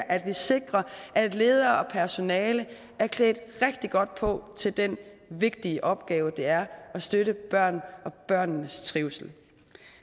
at vi sikrer at ledere og personale er klædt rigtig godt på til den vigtige opgave det er at støtte børnene og børnenes trivsel